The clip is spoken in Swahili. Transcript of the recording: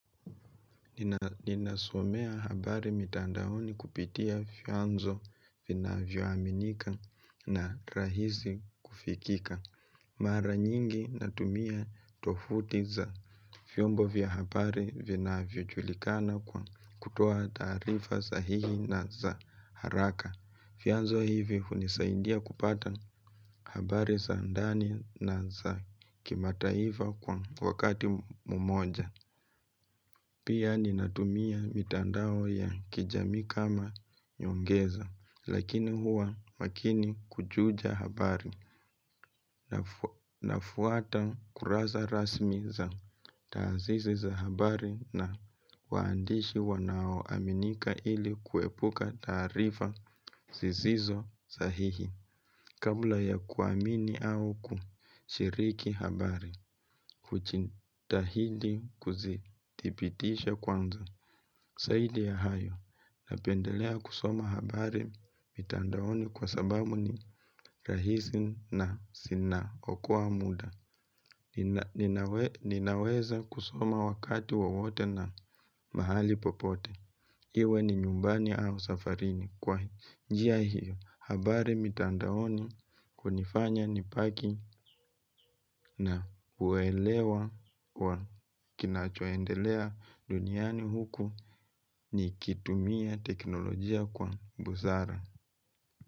Ninasomea habari mitandaoni kupitia fiyanzo vinavyoaminika na rahisi kufikika. Mara nyingi natumia tofuti za fiyombo vya habari vinavyojulikana kwa kutoa tarifa sahihi na za haraka. Fiyanzo hivi unisaindia kupata habari sa ndani na za kimataifa kwa wakati mumoja. Pia ninatumia mitandao ya kijami kama nyongeza, lakini huwa makini kujuja habari na fuata kuraza rasmi za taazizi za habari na waandishi wanao aminika ili kuepuka tarifa zisizo sahihi. Kabla ya kuamini au kushiriki habari, kuchitahidi kuzitipitisha kwanza, saidi ya hayo, napendelea kusoma habari mitandaoni kwa sababu ni rahisi na sinaokua muda, ninaweza kusoma wakati wowote na mahali popote. Iwe ni nyumbani au safarini kwa njia hiyo habari mitandaoni kunifanya nipaki na uwelewa kina choendelea duniani huku ni kitumia teknolojia kwa buzara.